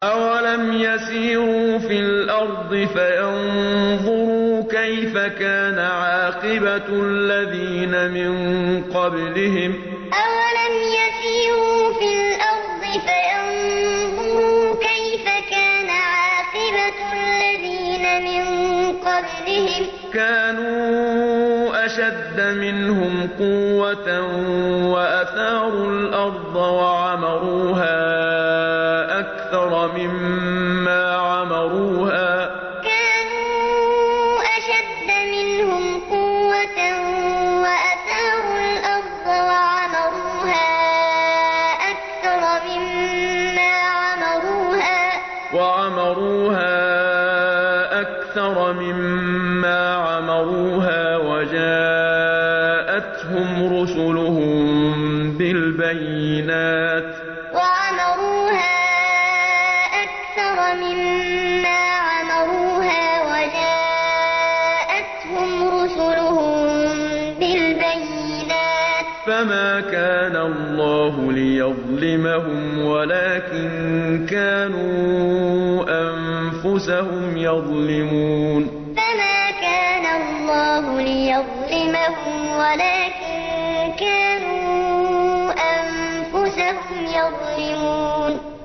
أَوَلَمْ يَسِيرُوا فِي الْأَرْضِ فَيَنظُرُوا كَيْفَ كَانَ عَاقِبَةُ الَّذِينَ مِن قَبْلِهِمْ ۚ كَانُوا أَشَدَّ مِنْهُمْ قُوَّةً وَأَثَارُوا الْأَرْضَ وَعَمَرُوهَا أَكْثَرَ مِمَّا عَمَرُوهَا وَجَاءَتْهُمْ رُسُلُهُم بِالْبَيِّنَاتِ ۖ فَمَا كَانَ اللَّهُ لِيَظْلِمَهُمْ وَلَٰكِن كَانُوا أَنفُسَهُمْ يَظْلِمُونَ أَوَلَمْ يَسِيرُوا فِي الْأَرْضِ فَيَنظُرُوا كَيْفَ كَانَ عَاقِبَةُ الَّذِينَ مِن قَبْلِهِمْ ۚ كَانُوا أَشَدَّ مِنْهُمْ قُوَّةً وَأَثَارُوا الْأَرْضَ وَعَمَرُوهَا أَكْثَرَ مِمَّا عَمَرُوهَا وَجَاءَتْهُمْ رُسُلُهُم بِالْبَيِّنَاتِ ۖ فَمَا كَانَ اللَّهُ لِيَظْلِمَهُمْ وَلَٰكِن كَانُوا أَنفُسَهُمْ يَظْلِمُونَ